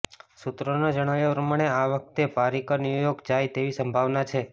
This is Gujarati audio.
સૂત્રોના જણાવ્યા પ્રમાણે આ વખતે પારીકર ન્યુયોર્ક જાય તેવી સંભાવના છે